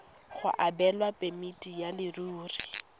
go abelwa phemiti ya leruri